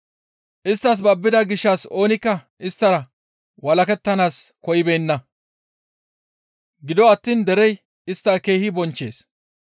Isttas babbida gishshas oonikka isttara walakettanaas koyibeenna; gido attiin derey istta keehi bonchchees.